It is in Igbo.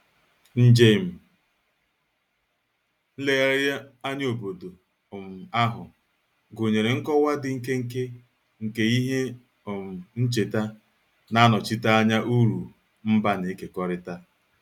Njem nlegharị anya obodo um ahụ gụnyere nkọwa dị nkenke nke ihe um ncheta na-anọchite anya uru mba na-ekekọrịta